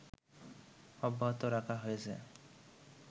অব্যাহত রাখা হয়েছে